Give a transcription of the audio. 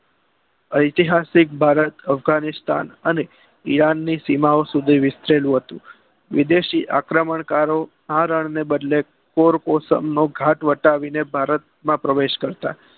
એતિહાસિક ભારત અભ્ગાનીસ્તાન ઈરાન સુધીવિસ્તરેલું હતું વિદેશી આક્રમણ કારો રણને બદલે પોર કોસ્મ મગાટ વટાવીને પ્રવેશ કરતા